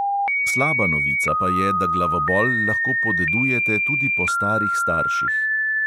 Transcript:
Slaba novica pa je, da glavobol lahko podedujete tudi po starih starših.